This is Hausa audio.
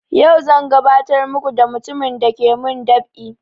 Yau zan gabatar muku da mutumin dake mun dab'i